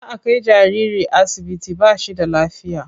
Za a kai jariri asibiti ba shi da lafiya.